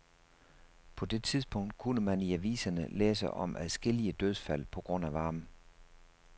På det tidspunkt kunne man i aviserne læse om adskillige dødsfald på grund af varme.